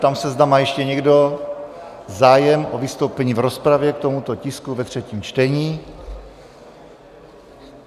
Ptám se, zda má ještě někdo zájem o vystoupení v rozpravě k tomuto tisku ve třetím čtení?